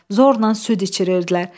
Zorla süd içirirdilər.